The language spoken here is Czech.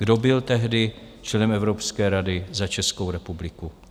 Kdo byl tehdy členem Evropské rady za Českou republiku?